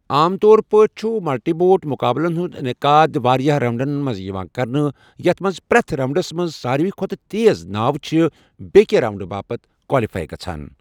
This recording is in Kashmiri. عام طور پٲٹھۍ چھُ ملٹی بوٹ مُقابلَن ہُنٛد انعقاد واریٛاہ راؤنڈَن منٛز یِوان کرنہٕ، یَتھ منٛز پرٛٮ۪تھ راؤنٛڈَس منٛز ساروِی کھۄتہٕ تیٖز ناوٕ چھِ بیٛکہِ راؤنڈٕ باپتھ کوالیفائی گژھَان۔